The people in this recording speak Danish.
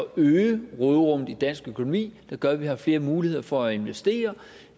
øge råderummet i dansk økonomi som gør at vi har flere muligheder for at investere